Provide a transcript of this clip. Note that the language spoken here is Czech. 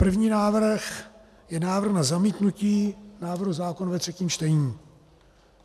První návrh je návrh na zamítnutí návrhu zákona ve třetím čtení.